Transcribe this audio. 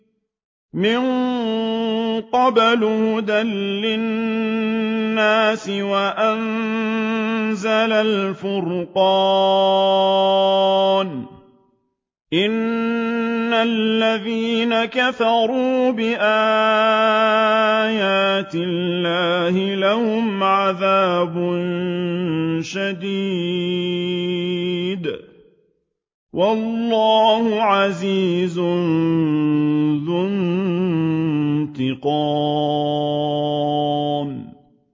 مِن قَبْلُ هُدًى لِّلنَّاسِ وَأَنزَلَ الْفُرْقَانَ ۗ إِنَّ الَّذِينَ كَفَرُوا بِآيَاتِ اللَّهِ لَهُمْ عَذَابٌ شَدِيدٌ ۗ وَاللَّهُ عَزِيزٌ ذُو انتِقَامٍ